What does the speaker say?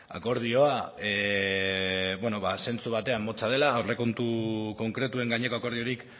akordioa bueno ba zentzu batean motza dela aurrekontu konkretuen gaineko akordiorik